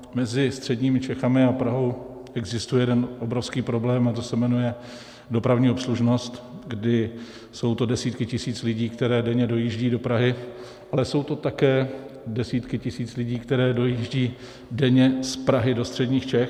Mezi středními Čechami a Prahou existuje jeden obrovský problém a ten se jmenuje dopravní obslužnost, kdy jsou to desítky tisíc lidí, které denně dojíždí do Prahy, ale jsou to také desítky tisíc lidí, které dojíždí denně z Prahy do středních Čech.